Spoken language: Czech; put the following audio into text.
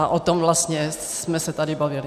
A o tom vlastně jsme se tady bavili.